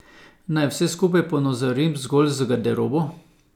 Naj vse skupaj ponazorim zgolj z garderobo.